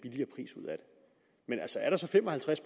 er der så fem og halvtreds